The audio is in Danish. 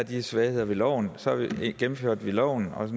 de svagheder ved loven så gennemførte vi loven og